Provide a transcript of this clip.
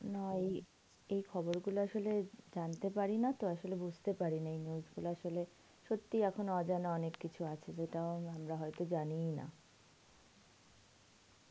না এই, এই খবরগুলো আসলে জানতে পারি না তো, আসলে বুঝতে পারি না এই news গুলো, আসলে সত্যিই এখনো অজানা অনেক কিছু আছে যেটা তা হয়তো জানিই না.